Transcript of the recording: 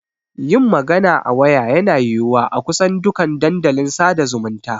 Yin magana a waya yana yiwuwa a kusan dukan dandalin sada zumunta.